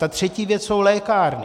Ta třetí věc jsou lékárny.